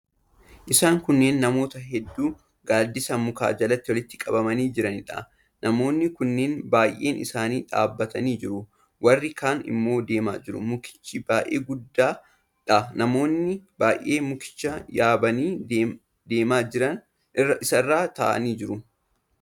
Isaan kunneen namoota hedduu gaaddisa mukaa jalatti walitti qabamanii jiraniidha. Namoonni kunneen baay'een isaanii dhaabbatanii jiru. Warri kaan immoo deemaa jiru. Mukichi baay'ee guddaadha. Namoonni baay'een mukicha yaabanii damee isaa irra taa'anii jiru.